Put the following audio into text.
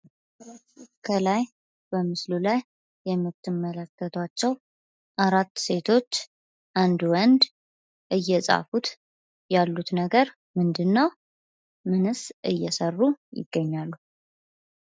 ከላይ በምስሉ ላይ የምትመለከታቸው አራት ሴቶችና አንድ ወንድ እየጻፉት ያሉት ነገር ምንድን ነው? ምንስ እየሰሩ ይገኛሉ?